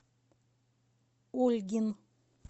ольгин